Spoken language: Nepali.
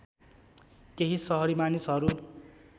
केही सहरी मानिसहरू